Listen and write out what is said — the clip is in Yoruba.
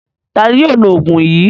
Ta ni yóò lo òògùn yìí?